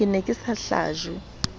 ke ne ke sa hlajwe